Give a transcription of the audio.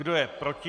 Kdo je proti?